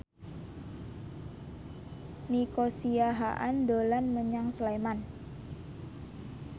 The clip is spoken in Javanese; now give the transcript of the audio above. Nico Siahaan dolan menyang Sleman